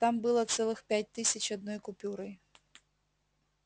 там было целых пять тысяч одной купюрой